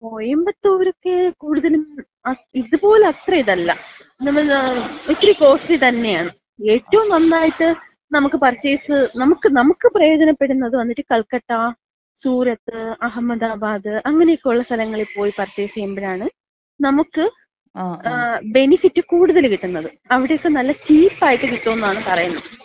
കോയമ്പത്തൂരൊക്കെ കൂടുതലും ഇത്പോലെ അത്ര ഇതല്ല. നമ്മള് ഇത്തിരി കോസ്റ്റലി തന്നെയാണ്. ഏറ്റവും നന്നായിട്ട് നമുക്ക് പർച്ചേസ് നമുക്ക് നമുക്ക് പ്രയോജനപ്പെടുന്നത് വന്നിട്ട് കൽക്കട്ട, സൂറത്ത്, അഹമ്മദാബാദ് അങ്ങനെക്കൊള്ള സ്ഥലങ്ങളിപ്പോയി പർച്ചേസ് ചെയ്യുമ്പഴാണ് നമുക്ക് ബെനിഫിറ്റ് കൂടുതല് കിട്ടുന്നത്. അവിടെയൊക്കെ നല്ല ചീപ്പ് ആയിട്ട് കിട്ടോന്നാണ് പറയുന്നത്.